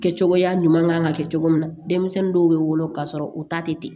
Kɛ cogoya ɲuman kan ka kɛ cogo min na denmisɛnnin dɔw bɛ wolo k'a sɔrɔ u ta tɛ